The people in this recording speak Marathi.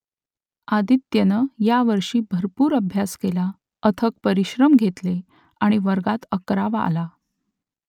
आदित्यनं यावर्षी भरपूर अभ्यास केला अथक परिश्रम घेतले आणि वर्गात अकरावा आला